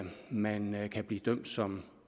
man kan blive dømt som